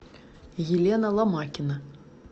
елена ломакина